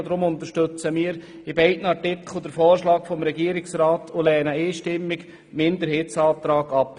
Darum unterstützen wir bei beiden Absätzen den Vorschlag des Regierungsrats und lehnen einstimmig den Minderheitsantrag ab.